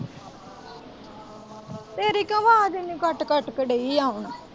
ਆਵਾਜ਼ ਇੰਨੀ ਕੱਟ ਕੇ ਦੇਈ ਏ ਆਉਣ।